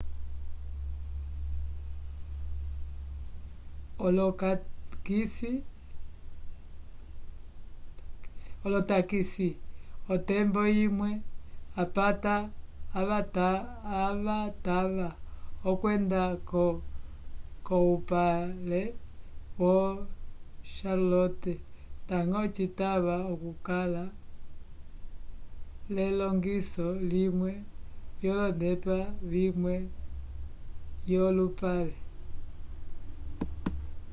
olotakisi otembo imwe apata avatava okwenda-ko k'oupale yo charlotte ndañgo citava okukala l'elongiso limwe k'olonepa vimwe yolupale